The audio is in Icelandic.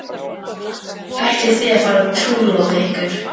Ætlið þið að fara að trúlofa ykkur?